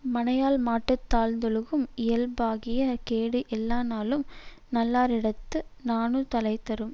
மனையாள்மாட்டுந் தாழ்ந்தொழுகும் இயல்பாகிய கேடு எல்லா நாளும் நல்லாரிடத்து நாணுதலைத் தரும்